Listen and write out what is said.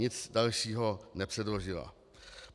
Nic dalšího nepředložila.